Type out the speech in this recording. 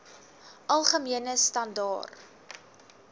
algemene standaar